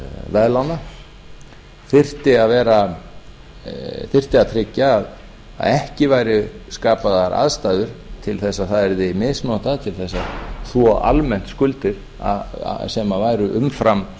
veðlána þyrfti að tryggja að ekki væru skapaðar aðstæður til þess að það yrði misnotað til þess að almennt skuldir sem væru umfram